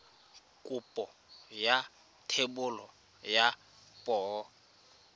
kopo ya thebolo ya poo